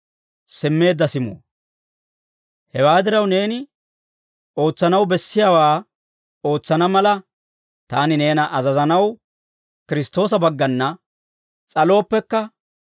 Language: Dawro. Hewaa diraw, neeni ootsanaw bessiyaawaa ootsana mala, taani neena azazanaw Kiristtoosa baggana s'alooppekka,